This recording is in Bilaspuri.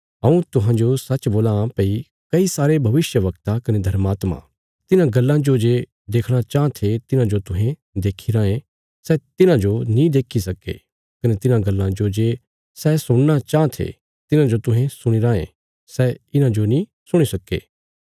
हऊँ तुहांजो सच्च बोलां भई कई सारे भविष्यवक्ता कने धर्मात्मा तिन्हां गल्लां जो जे देखणा चाँह थे तिन्हांजो तुहें देखी रायें सै तिन्हांजो नीं देक्खी सक्के कने तिन्हां गल्लां जो जे सै सुणना चाँह थे तिन्हांजो तुहें सुणीराँ ये सै इन्हांजो नीं सुणी सक्के